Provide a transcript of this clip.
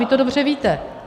Vy to dobře víte.